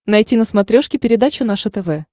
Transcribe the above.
найти на смотрешке передачу наше тв